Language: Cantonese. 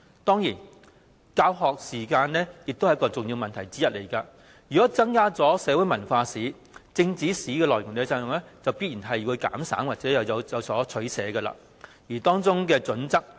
當然，教學時間也是一個重要問題，如果增加社會文化史，便必須減省政治史的內容及作出取捨，但當中的準則為何呢？